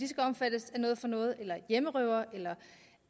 skal omfattes af noget for noget eller hjemmerøvere eller